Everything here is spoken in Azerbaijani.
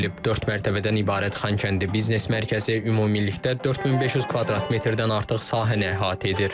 Dörd mərtəbədən ibarət Xankəndi biznes mərkəzi ümumilikdə 4500 kvadrat metrdən artıq sahəni əhatə edir.